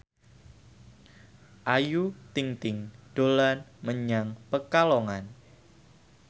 Ayu Ting ting dolan menyang Pekalongan